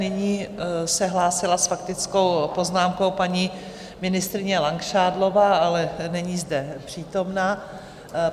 Nyní se hlásila s faktickou poznámkou paní ministryně Langšádlová, ale není zde přítomna.